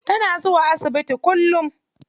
Tana zuwa asibiti kullum.